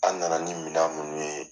An nana ni minan munun ye